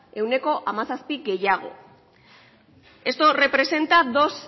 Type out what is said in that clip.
ehuneko hamazazpi gehiago esto representa dos